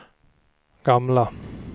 gamla